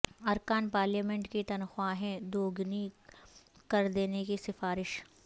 ارکان پارلیمنٹ کی تنخواہیں دوگنی کر دینے کی سفارش